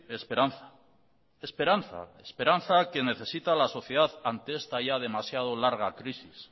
esperanza esperanza que necesita la sociedad ante esta ya demasiado larga crisis